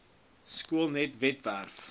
skoolnet webwerf bevat